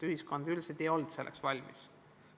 Ühiskond ei olnud selleks valmis.